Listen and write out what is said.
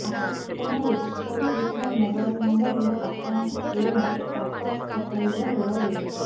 ଆପଣ ରେଜିଷ୍ଟର୍ କରିଥିବା ମୋବାଇଲ୍ ନମ୍ବରରେ ଆପଣଙ୍କୁ ଟ୍ରେନର ଷ୍ଟାଟସ୍ ପଠାଇବ ରେଳ ବିଭାଗ